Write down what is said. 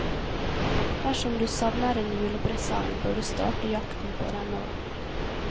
Dersom du savner en julepresang, bør du starte jakten på den nå.